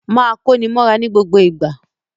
Máa kóni mọ́ra ní gbogbo ìgbà!